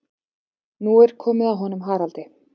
Nú er komið að honum Haraldi.